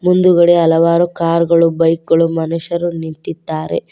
ಮುಂದುಗಡೆ ಹಲವಾರು ಕಾರ್ ಗಳು ಬೈಕ್ ಗಳು ಮನುಷ್ಯರು ನಿಂತಿದ್ದಾರೆ.